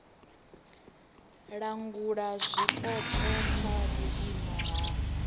langula zwipotso kha vhuimo ha